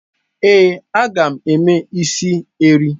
Ee, a ga m eme is erii.